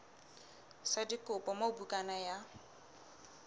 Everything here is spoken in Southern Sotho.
sa dikopo moo bukana ya